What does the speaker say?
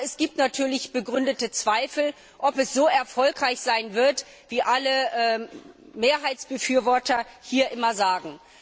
Aber es gibt natürlich begründete Zweifel, ob es so erfolgreich sein wird, wie alle Mehrheitsbefürworter hier immer sagen.